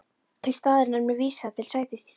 Í staðinn er mér vísað til sætis í stein